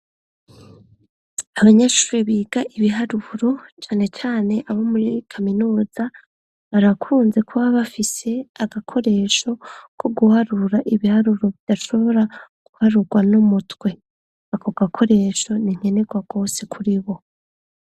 Abanyashuri biga ibiharuro canecane abo muriri kaminuza barakunze kuba bafise agakoresho ko guharura ibiharuro bidashobora guharurwa no mutwe ako gakoresho ninkenerwa kwose kuri bo.